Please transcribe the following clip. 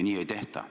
Nii ei tehta.